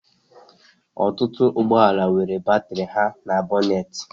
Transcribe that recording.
Ọtụtụ ụgbọ ala nwere batrị ha na bonate